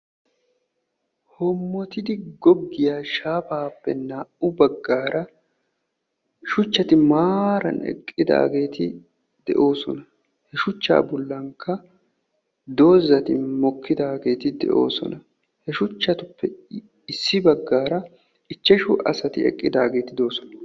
Hoomottidi goggiya shaafape naa'u baggara shuuchchati maaran eqqidageti de'oosona. Shuuchcha bollan doozzati mokkidaageti deosona. He shuuchchatuppe issi baggara ichchashu asaati eqqidageti de'oosona.